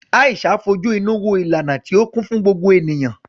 Aisha fojú inú wo ìlànà tí ó kún fún gbogbo ènìyàn.